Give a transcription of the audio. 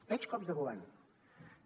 veig cops de govern